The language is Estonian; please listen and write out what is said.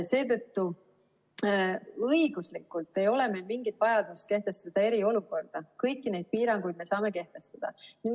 Seetõttu õiguslikult ei ole meil mingit vajadust kehtestada eriolukorda, kõiki neid piiranguid me saame kehtestada.